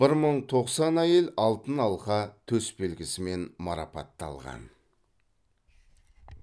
бір мың тоқсан әйел алтын алқа төсбелгісімен марапатталған